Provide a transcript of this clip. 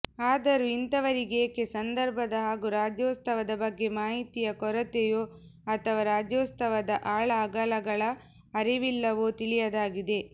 ಆದರೂ ಇಂಥವರಿಗೇಕೆ ಸಂದರ್ಭದ ಹಾಗೂ ರಾಜ್ಯೋತ್ಸವದ ಬಗ್ಗೆ ಮಾಹಿತಿಯ ಕೊರತೆಯೋ ಅಥವಾ ರಾಜ್ಯೋತ್ಸವದ ಆಳ ಅಗಲಗಳ ಅರಿವಿಲ್ಲವೋ ತಿಳಿಯದಾಗಿದೆ